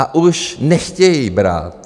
A už nechtějí brát.